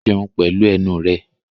Jẹun pẹ̀lú ẹnu rẹ!